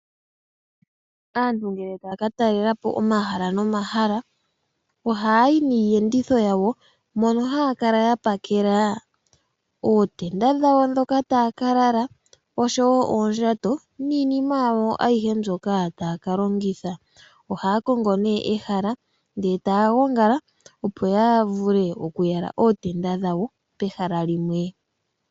Aantu ngele taya ka talela po omahala nomahala ohaa yi niiyenditho yawo mono ya pakela mo ootenda dhawo ndhoka taya ka lala. Osho wo oondjato niinima yawo ayihe mbyoka taya ka longitha. Ohaya kongo nee ehala ndele taya gongala opo ya vule oku yala ootenda dhawo pehala limwe.